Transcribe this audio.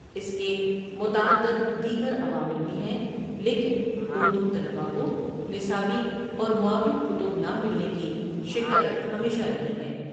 اس کے متعدد دیگر عوامل بھی ہیں لیکن اردو طلبہ کو نصابی اور معاون کتب نہ ملنے کی شکایت ہمیشہ رہی ہے۔